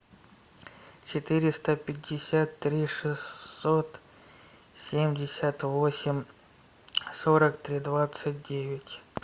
четыреста пятьдесят три шестьсот семьдесят восемь сорок три двадцать девять